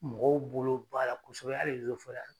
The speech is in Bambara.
Mɔgɔw bolo b'a la kɔsɛbɛ a de a